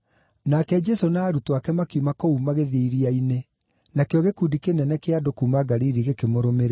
Nake Jesũ na arutwo ake makiuma kũu magĩthiĩ iria-inĩ, nakĩo gĩkundi kĩnene kĩa andũ kuuma Galili gĩkĩmũrũmĩrĩra.